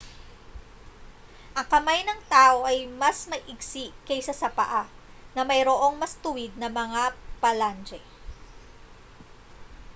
ang kamay ng tao ay mas maigsi kaysa sa paa na mayroong mas tuwid na mga phalange